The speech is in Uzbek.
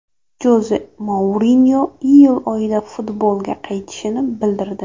Joze Mourinyo iyul oyida futbolga qaytishini bildirdi.